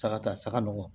Saga ta saga nɔgɔ